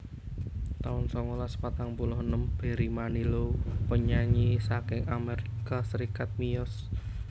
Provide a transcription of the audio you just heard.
taun songolas patang puluh enem Barry Manilow penyanyi saking Amerika Serikat miyos